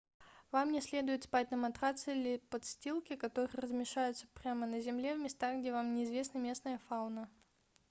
вам не следует спать на матраце или подстилке которые размещаются прямо на земле в местах где вам не известна местная фауна